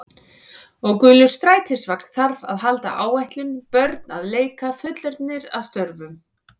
Og gulur strætisvagn þarf að halda áætlun, börn að leik, fullorðnir að störfum.